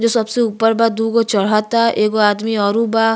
जो सबसे ऊपर बा। दोगो चढ़ता। एगो आदमी ओरो बा।